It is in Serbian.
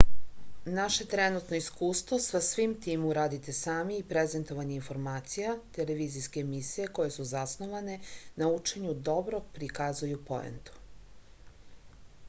naše trenutno iskustvo sa svim tim uradite sami i prezentovanje informacija televizijske emisije koje su zasnovane na učenju dobro prikazuju poentu